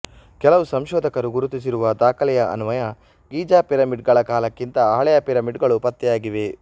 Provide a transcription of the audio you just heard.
ಕೆಲವು ಸಂಶೋಧಕರು ಗುರುತಿಸಿರುವ ದಾಖಲೆಯ ಅನ್ವಯ ಗೀಜಾ ಪಿರಮಿಡ್ ಗಳ ಕಾಲಕ್ಕಿಂತ ಹಳೆಯ ಪಿರಮಿಡ್ದುಗಳು ಪತ್ತೆಯಾಗಿವೆ